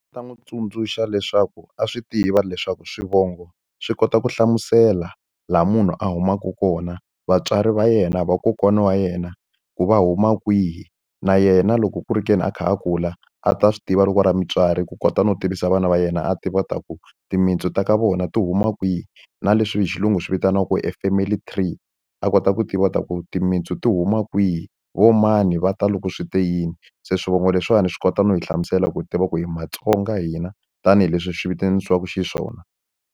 Ndzi ta n'wi tsundzuxa leswaku a swi tiva leswaku swivongo swi kota ku hlamusela laha munhu a humaka kona, vatswari va yena, vakokwana wa yena, ku va huma kwihi. Na yena loko ku ri ke ni a kha a kula, a ta swi tiva loko a ri mutswari ku kota no tivisa vana va yena a tiva leswaku timintsu ta ka vona ti huma kwihi. Na leswi hi xilungu swi vitaniwaku e family three, a kota ku tiva leswaku timintsu ti huma kwihi, vo mani va ta loko swi te yini. Se swivongo leswiwani swi kota no yi hlamusela ku tiva ku hi maTsonga hina tanihileswi swi vitanisiwaka xiswona.